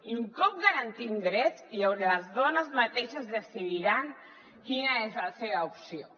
i un cop garantim drets les dones mateixes decidiran quina és la seva opció